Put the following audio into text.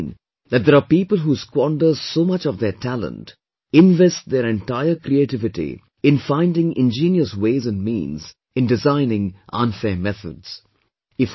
And, I have seen that there are people who squander so much of their talent, invest their entire creativity in finding ingenious ways and means in designing unfair methods